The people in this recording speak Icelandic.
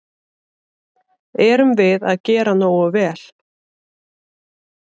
Erum við að gera nógu vel?